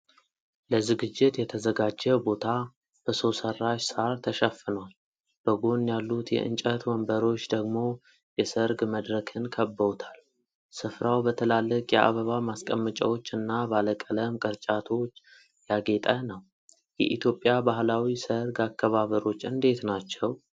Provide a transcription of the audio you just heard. ለዝግጅት የተዘጋጀ ቦታ በሰው ሠራሽ ሣር ተሸፍኗል፤ በጎን ያሉት የእንጨት ወንበሮች ደግሞ የሠርግ መድረክን ከበውታል። ስፍራው በትላልቅ የአበባ ማስቀመጫዎች እና ባለቀለም ቅርጫቶች ያጌጠ ነው። የኢትዮጵያ ባህላዊ ሠርግ አከባበሮች እንዴት ናቸው?